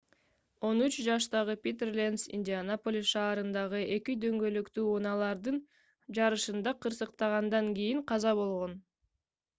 13 жаштагы питер ленц индианаполис шаарындагы эки дөңгөлөктүү унаалардын жарышында кырсыктагандан кийин каза болгон